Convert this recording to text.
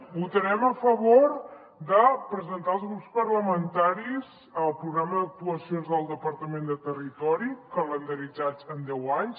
votarem a favor de presentar als grups parlamentaris el programa d’actuacions del departament de territori calendaritzades en deu anys